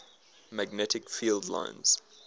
magnetic field lines